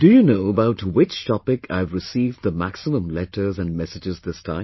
Do you know about which topic I have received the maximum letters and messages this time